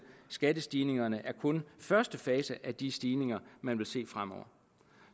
skattestigningerne er kun første fase af de stigninger man vil se fremover